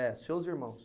É, seus irmãos.